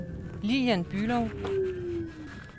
Lillian Bülow